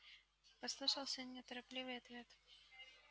послышался неторопливый ответ